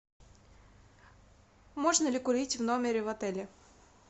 можно ли курить в номере в отеле